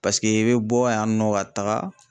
Paseke i bɛ bɔ yan nɔ ka taaga.